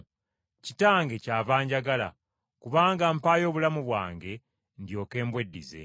Kitange kyava anjagala, kubanga mpaayo obulamu bwange ndyoke mbweddize.